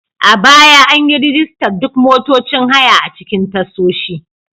A baya, an yi rajistar duk motocin haya a cikin tashoshi.